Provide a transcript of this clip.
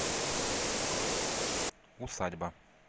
усадьба